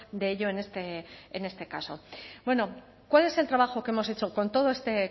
de ello en este caso bueno cuál es el trabajo que hemos hecho con todo este